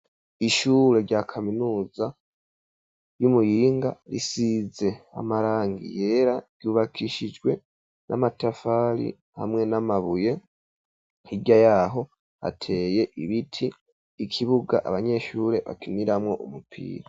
Ishure rya kaminuza yi Muyinga risize amarangi yera ryubakishijwe n'amatafari hamwe n'amabuye, hirya yaho hateye ibiti ikibuga abanyeshure bakiniramo umupira,